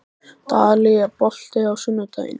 Dalí, er bolti á sunnudaginn?